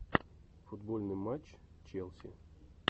футбольный матч челси